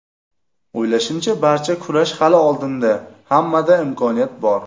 O‘ylashimcha, barcha kurash hali oldinda, hammada imkoniyat bor.